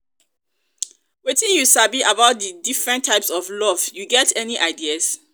wetin you sabi about di di different types of love you get any idea?